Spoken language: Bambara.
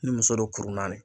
Ni muso don kuru naani